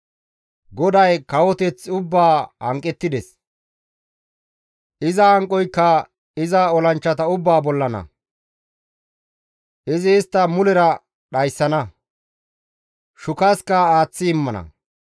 GODAY kawoteth ubbaa hanqettides; iza hanqoyka iza olanchchata ubbaa bollana. Izi istta mulera dhayssana; shukaska aaththi immana.